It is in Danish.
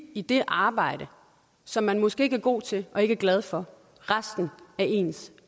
i det arbejde som man måske ikke er god til og ikke er glad for resten af ens